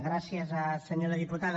gràcies senyora diputada